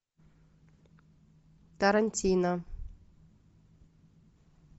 тарантино